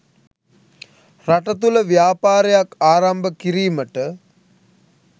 රට තුළ ව්‍යාපාරයක් ආරම්භ කිරීමට